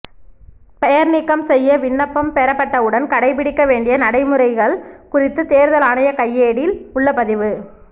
பெயர் நீக்கம் செய்ய விண்ணப்பம் பெறப்பட்டவுடன் கடைபிடிக்கவேண்டிய நடைமுறைகள் குறித்த தேர்தல் ஆணைய கையேடில் உள்ள பதிவு